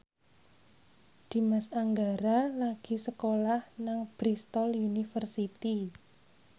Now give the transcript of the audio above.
Dimas Anggara lagi sekolah nang Bristol university